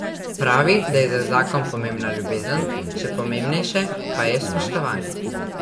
Pravi, da je za zakon pomembna ljubezen, še pomembnejše pa je spoštovanje.